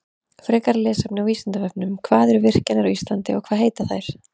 Frekara lesefni á Vísindavefnum: Hvað eru virkjanir á Íslandi margar og hvað heita þær?